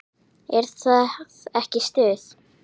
Er það ekki stuð?